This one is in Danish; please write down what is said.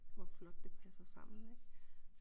Hvor flot det passer sammen ik